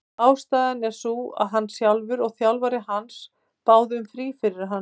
Ástæðan er sú að hann sjálfur og þjálfari hans báðu um frí fyrir hann.